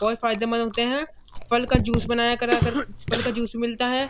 बहोत फादेमंद होते हैं। फल का जूस बनाया करा कर फल का जूस मिलता है।